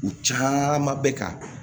U caman bɛ ka